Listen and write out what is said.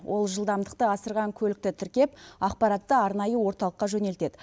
ол жылдамдықты асырған көлікті тіркеп ақпаратты арнайы орталыққа жөнелтеді